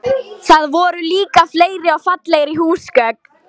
Þar voru líka fleiri og fallegri húsgögn.